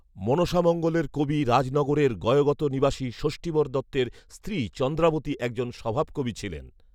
মনসামঙ্গলের কবি রাজনগরের গয়গত নিবাসী যষ্ঠীবর দত্তের স্ত্রী চন্দ্রাবতী একজন স্বভাবকবি ছিলেন